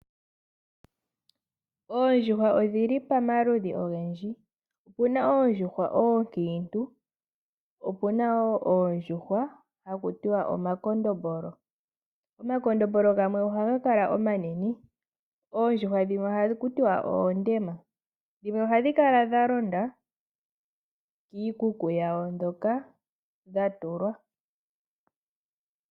Oondjuhwa odhili pamaludhi ogendji. Opuna oondjuhwa ookiintu, opuna woo oondjuhwa hakutiwa omakondombolo. Omakondombolo gamwe ohagakala omanene. oondjuhwa dhimwe ohakutiwa oondema. Ndhimwe ohadhikala dhalonda kiikuku yawo hoka dhatulwa.